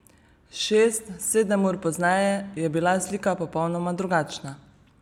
Šest, sedem ur pozneje je bila slika popolnoma drugačna.